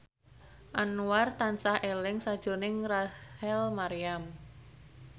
Anwar tansah eling sakjroning Rachel Maryam